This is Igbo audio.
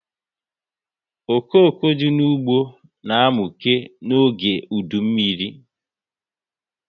Okoko dị n'ụgbọ na amuke n'oge udu mmiri